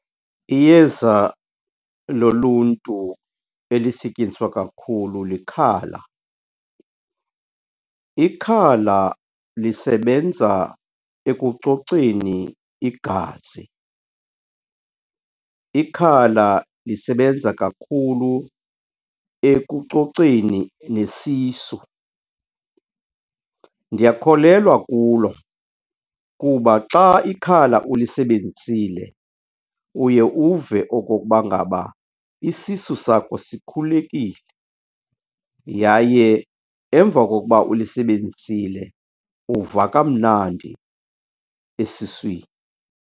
Iyeza loluntu elisetyenziswa kakhulu likhala. Ikhala lisebenza ekucoceni igazi, ikhala lisebenza kakhulu ekucoceni nesisu. Ndiyakholelwa kulo kuba xa ikhala ulisebenzisile uye uve okokuba ngaba isisu sakho sikhulekile, yaye emva kokuba ulisebenzisile uva kamnandi esiswini.